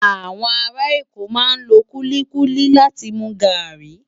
Awòn àrá Èkó má n ló kúlikúli láti mú gári